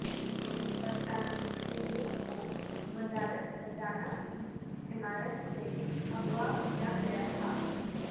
برطانوی شہریوں کو وزارت خزانہ کی عمارت سے اغواء کیا گیا تھا